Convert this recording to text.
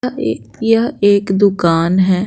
यह एक दुकान है।